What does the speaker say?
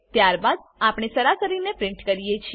ત્યારબાદ આપણે સરાસરીને પ્રીંટ કરીએ છીએ